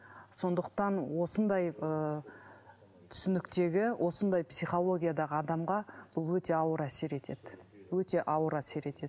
сондықтан осындай ыыы түсініктегі осындай психологиядағы адамға бұл өте ауыр әсер етеді өте ауыр әсер етеді